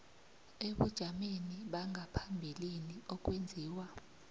ebujameni bangaphambilini okwenziwa